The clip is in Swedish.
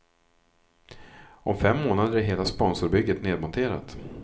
Om fem månader är hela sponsorbygget nedmonterat.